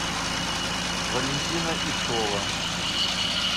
валентина ишова